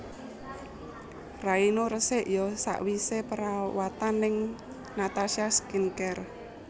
Raimu resik yo sakwise perawatan ning Natasha Skin Care